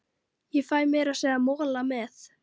Ég fæ meira að segja mola með.